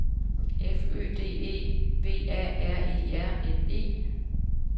F Ø D E V A R E R N E